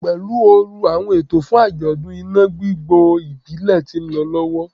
Pelu ooru, awọn eto fun ajọdun ina gbigbo ibile ti nlọ lọwọ